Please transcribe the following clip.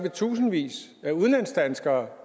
at tusindvis af udlandsdanskere